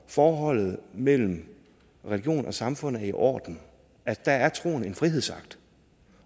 forholdet mellem religion og samfund er i orden at der er troen en frihedsakt